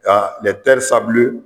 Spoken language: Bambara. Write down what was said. Ka lɛ tɛri sabile